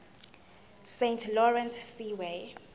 saint lawrence seaway